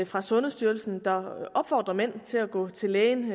fra sundhedsstyrelsen der opfordrer mænd til at gå til lægen